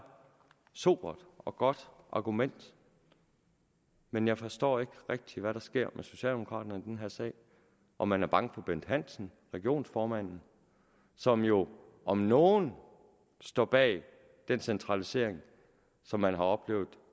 sobert og godt argument men jeg forstår ikke rigtig hvad der sker med socialdemokraterne i den her sag om man er bange for bent hansen regionsformanden som jo om nogen står bag den centralisering som man har oplevet